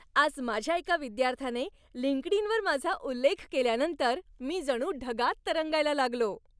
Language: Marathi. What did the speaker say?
आज माझ्या एका विद्यार्थ्याने लिंक्डइनवर माझा उल्लेख केल्यानंतर मी जणू ढगात तरंगायला लागलो.